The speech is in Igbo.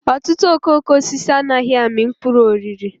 Ọtụtụ okooko osisi anaghị amị mkpụrụ oriri.